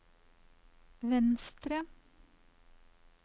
venstre